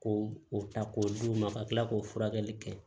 Ko o ta k'o d'u ma ka tila k'o furakɛli kɛ